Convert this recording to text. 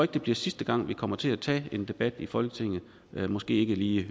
det bliver sidste gang vi kommer til at tage en debat i folketinget måske ikke lige